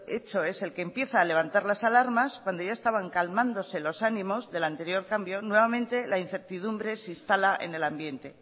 hecho es el que empieza a levantar las alarmas cuando ya estaban calmándose los ánimos del anterior cambio nuevamente la incertidumbre se instala en el ambiente